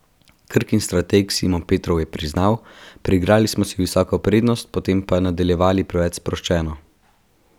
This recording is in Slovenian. Krkin strateg Simon Petrov je priznal: "Priigrali smo si visoko prednost, potem pa nadaljevali preveč sproščeno.